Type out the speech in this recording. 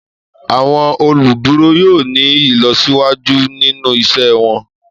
Àwọn oluduro yoo ni ilọsiwaju ninu iṣẹ wọn.